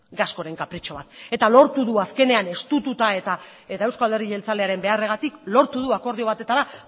gascoren kapritxo bat eta lortu du azkenean estututa eta eusko alderdi jeltzalearen beharragatik lortu du akordio batetara